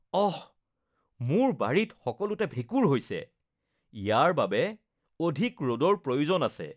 অস!! মোৰ বাৰীত সকলোতে ভেঁকুৰ হৈছে। ইয়াৰ বাবে অধিক ৰ’দৰ প্ৰয়োজন আছে।